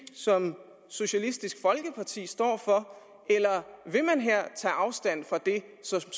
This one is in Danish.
som socialistisk folkeparti står for eller vil man her tage afstand fra det som